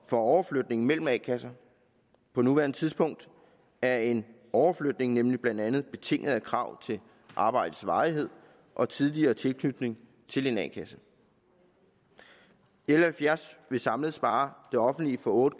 for overflytning mellem a kasser på nuværende tidspunkt er en overflytning nemlig blandt andet betinget af krav til arbejdets varighed og tidligere tilknytning til en a kasse l halvfjerds vil samlet spare det offentlige for otte